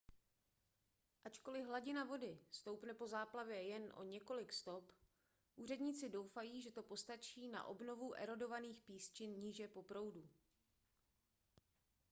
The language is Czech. ačkoliv hladina vody stoupne po záplavě jen o několik stop úředníci doufají že to postačí na obnovu erodovaných písčin níže po proudu